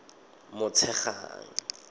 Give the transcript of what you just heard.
motshegang